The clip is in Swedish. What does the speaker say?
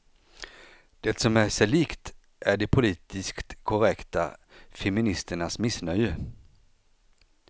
Det som är sig likt är de politiskt korrekta feministernas missnöje.